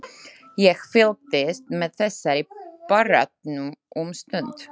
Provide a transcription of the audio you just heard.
Ég fylgdist með þessari baráttu um stund.